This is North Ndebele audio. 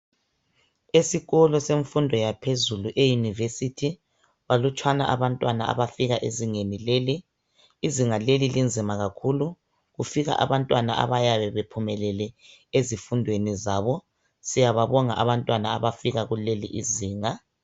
Esikolo semfundo yaphezulu euniversity balutshwana abantwana abafika ezingeni leli izinga leli linzima kakhulu ukufika abantwana abayabe bephumelele ezifundweni zabo siyababonga abantwana abafika kuleli izinga.